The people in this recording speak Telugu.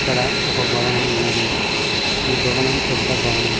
ఇక్కడ ఒక భవనం ఉన్నది ఈ భవనం పెద్ద భవనం.